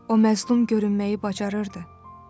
O məzlum görünməyi bacarırdı.